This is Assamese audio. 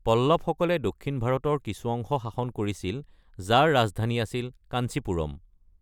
পল্লৱসকলে দক্ষিণ ভাৰতৰ কিছু অংশ শাসন কৰিছিল, যাৰ ৰাজধানী আছিল কাঞ্চিপুৰম।